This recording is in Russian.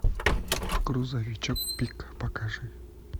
грузовичок пик покажи